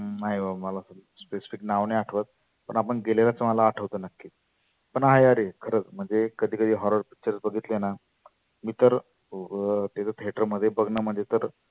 नाय बाबा मला specific नाव नाही आठवत. पण आपण गेलेल्याच आठवत नक्की. पण हा यार खरच म्हणजे कधी कधी horror pictures बघितलेना मी तर बु तिथं theater मध्ये बघनं म्हणजे तर